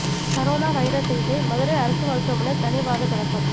corona virus சிகிச்சை மதுரை அரசு மருத்துவமனை தனி வார்டு தொடக்கம்